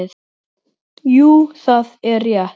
Jú, það er rétt.